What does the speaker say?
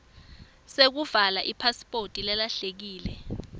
sekuvala ipasiphoti lelahlekile